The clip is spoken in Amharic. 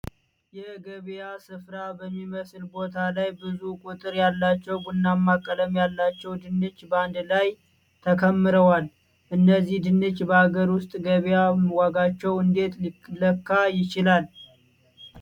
የገበያ ስፍራ በሚመስል ቦታ ላይ ብዙ ቁጥር ያላቸው ቡናማ ቀለም ያላቸው ድንች በአንድ ላይ ተከምረዋል። እነዚህ ድንች በአገር ውስጥ ገበያ ዋጋቸው እንዴት ሊለካ ይችላል?